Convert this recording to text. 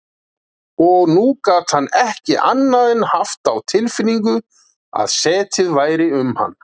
Og nú gat hann ekki annað en haft á tilfinningunni að setið væri um hann.